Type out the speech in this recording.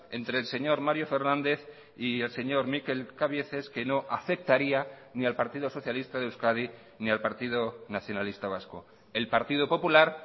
entre el señor mario fernández y el señor mikel cabieces que no afectaría ni al partido socialista de euskadi ni al partido nacionalista vasco el partido popular